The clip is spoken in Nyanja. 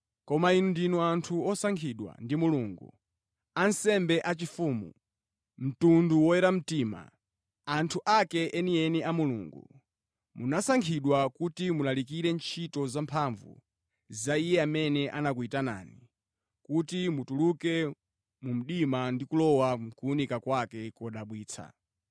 Koma inu ndinu anthu osankhidwa ndi Mulungu, ansembe achifumu, mtundu woyera mtima, anthu ake enieni a Mulungu, munasankhidwa kuti mulalikire za ntchito zamphamvu za Iye amene anakuyitanani kuti mutuluke mu mdima ndi kulowa mʼkuwunika kwake kodabwitsa.